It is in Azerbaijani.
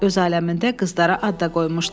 Öz aləmində qızlara ad da qoymuşdu.